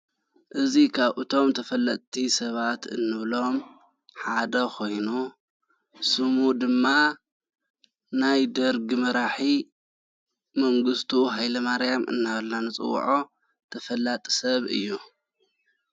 እዙ ኻብ እቶም ተፈለጥቲ ሰባት እንብሎም ሓደ ኾይኑ ስሙ ድማ ናይ ደርግ መራሒ መንግሥቱ ሃይለ ማርያም እናበላና ንፅውዖ ተፈላጥ ሰብ እዩ::